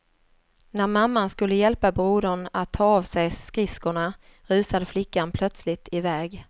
När mamman skulle hjälpa brodern att ta av sig skridskorna rusade flickan plötsligt i väg.